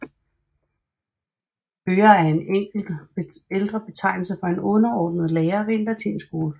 Hører er en ældre betegnelse for en underordnet lærer ved en latinskole